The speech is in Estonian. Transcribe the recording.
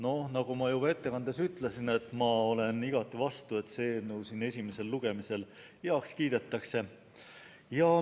Nagu ma juba komisjoni ettekandes ütlesin, olen ma igati vastu, et see eelnõu siin esimesel lugemisel heaks kiidetaks.